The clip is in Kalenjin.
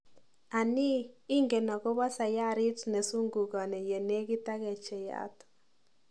Anii, ingen akopa sayarit nesungukoni ye nekit ak kecheiyat?